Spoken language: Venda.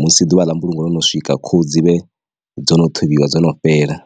musi ḓuvha ḽa mbulungo yo no swika khuhu dzi vhe dzo no ṱhuvhiwa dzo no fhela.